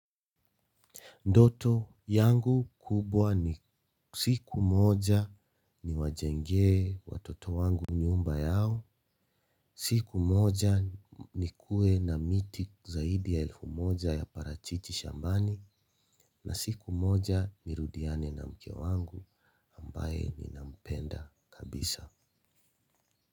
Ndoto yangu kubwa ni siku moja ni wajengee watoto wangu nyumba yao, siku moja nikuwe na miti zaidi ya elfu moja ya parachichi shambani, na siku moja nirudiane na mke wangu ambaye nina mpenda kabisa.